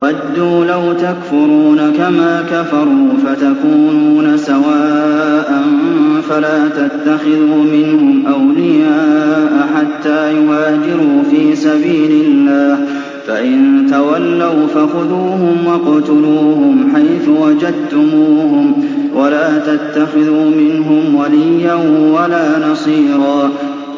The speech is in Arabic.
وَدُّوا لَوْ تَكْفُرُونَ كَمَا كَفَرُوا فَتَكُونُونَ سَوَاءً ۖ فَلَا تَتَّخِذُوا مِنْهُمْ أَوْلِيَاءَ حَتَّىٰ يُهَاجِرُوا فِي سَبِيلِ اللَّهِ ۚ فَإِن تَوَلَّوْا فَخُذُوهُمْ وَاقْتُلُوهُمْ حَيْثُ وَجَدتُّمُوهُمْ ۖ وَلَا تَتَّخِذُوا مِنْهُمْ وَلِيًّا وَلَا نَصِيرًا